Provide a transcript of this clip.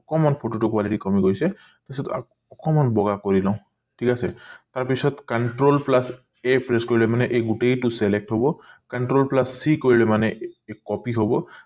অকমান photo টো quality টো কমি গৈছে তাৰপিছত অকণমান বগা কৰি লও ঠিক আছে তাৰ পিছত control plus a pre কৰিলে মানে এই গোটেই টো select হব control plus c কৰিলে মানে copy হব